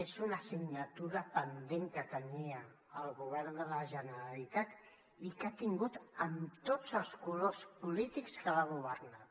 és una assignatura pendent que tenia el govern de la generalitat i que ha tingut amb tots els colors polítics que l’han governat